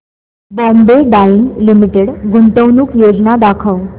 Bombay Dyeing Limited गुंतवणूक योजना दाखव